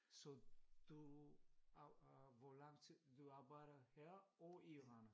Så du hvor lang tid du arbejder her og i Randers